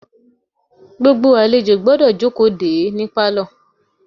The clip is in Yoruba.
Gbogbo àlejò gbọ́dọ̀ jókòó de é ní pálọ̀.